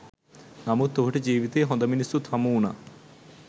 නමුත් ඔහුට ජීවිතයේ හොඳ මිනිස්සුත් හමුවුණා.